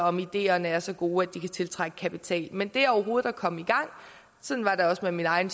om ideerne er så gode at de kan tiltrække kapital men det overhovedet at komme i gang sådan var det også med min egen